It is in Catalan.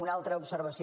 una altra observació